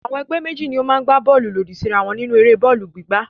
Àwọn ẹgbẹ́ méjì ni ó máa gbá bọ́ọ́lù lòdì síra wọn nínú eré bọ́ọ́lù gbígbá.